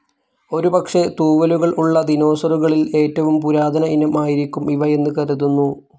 ഒരു പക്ഷെ തൂവലുകൾ ഉള്ള ദിനോസറുകളിൽ ഏറ്റവും പുരാതന ഇനം ആയിരിക്കും ഇവ എന്ന് കരുതുന്നു.